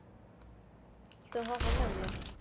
Borgþór, viltu hoppa með mér?